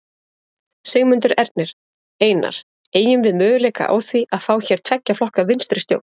Sigmundur Ernir: Einar, eygjum við möguleika á því að fá hér tveggja flokka vinstristjórn?